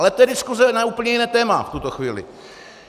Ale to je diskuse na úplně jiné téma v tuto chvíli.